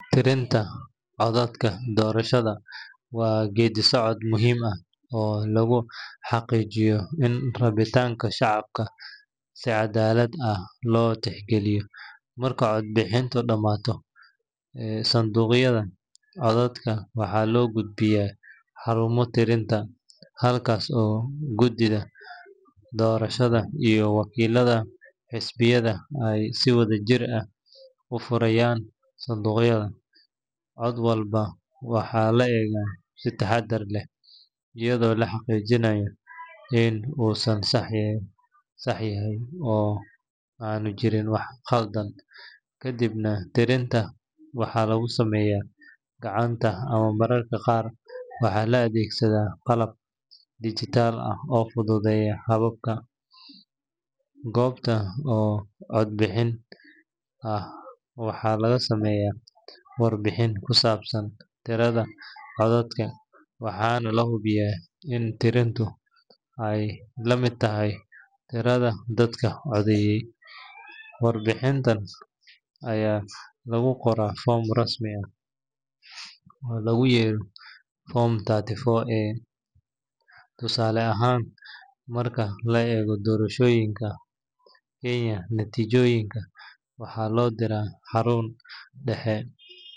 Tirinta codadka doorashada waa geedi socod muhiim ah oo lagu xaqiijiyo in rabitaanka shacabka si cadaalad ah loo tixgeliyo. Marka codbixintu dhammaato, sanduuqyada codadka waxaa loo gudbiyaa xarumaha tirinta, halkaas oo guddiga doorashada iyo wakiillada xisbiyada ay si wada jir ah u furayaan sanduuqyada. Cod walba waxaa la eegaa si taxaddar leh, iyadoo la xaqiijinayo in uu sax yahay oo aanu jirin wax khaldan. Kadibna, tirinta waxaa lagu sameeyaa gacanta ama mararka qaar waxaa la adeegsadaa qalab digital ah oo fududeeya habka. Goob kasta oo codbixin ah waxaa laga sameeyaa warbixin ku saabsan tirada codadka, waxaana la hubiyaa in tirintu ay la mid tahay tirada dadka codeeyay. Warbixintan ayaa lagu qoraa foom rasmi ah oo loogu yeero Form therty four A, tusaale ahaan marka la eego doorashooyinka Kenya. Natiijooyinkan waxaa loo diraa xarun dhexe.